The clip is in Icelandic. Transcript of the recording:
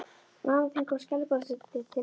Mamma þín kom skælbrosandi til dyra.